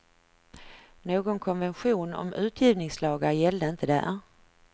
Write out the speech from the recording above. Någon konvention om utgivningslagar gällde inte där.